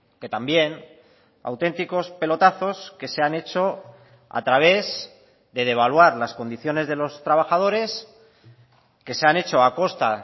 que también auténticos pelotazos que se han hecho a través de devaluar las condiciones de los trabajadores que se han hecho a costa